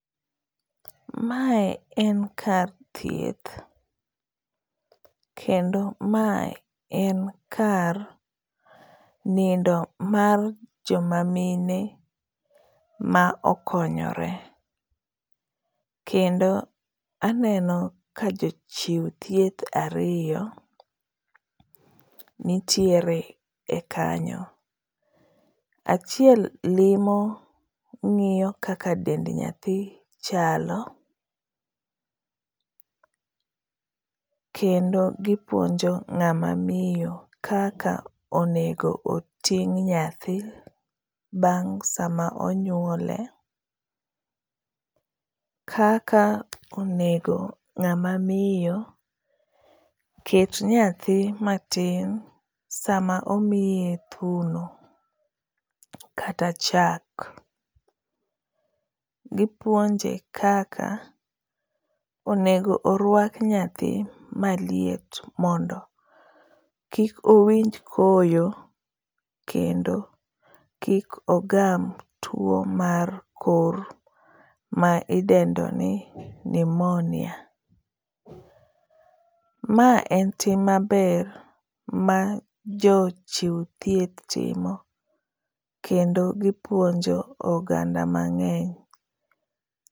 Mae en kar thieth. Kendo mae en kar nindo mar joma mine ma okonyore. Kendo aneno ka jochiw thieth ariyo nitiere e kanyo. Achiel limo ngíyo kaka dend nyathi chalo, kendo gipuonjo ngá ma miyo kaka onego oting' nyathi, bang' sama onywole, kaka onego ngáma miyo ket nyathi matin sama omiye thuno kata chak. Gipuonje kaka onego orwak nyathi maliet mondo kik owinj koyo kendo kik ogam two mar kor ma idendo ni pneumonia. Ma en tim maber ma jochiw thieth timo kendo gipuonjo oganda mangény.